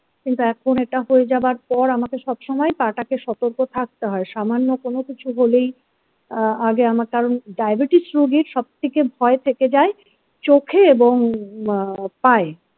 কিন্তু এখন এটা হয়ে যাওয়ার পর আমাকে সব সময় পা টাকে সতর্ক থাকতে হয় সামান্য কোনো কিছু হলেই আ আগে আমার কারণ diabetes রোগের সবথেকে ভয় থেকে যাই চোখে এবং আহ পায়ে।